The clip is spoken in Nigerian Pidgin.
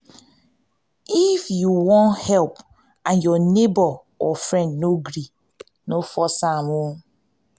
if if you won help and your neighbor or friend no gree no force am